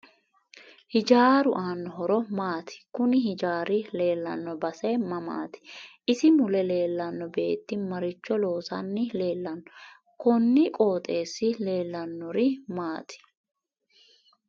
Hijaaru aano horo maati kuni hijaari leelanno baae mamaati isi mule leelanno beeti maricho loosani leelanno kuni qooxeesi leeliahanori maati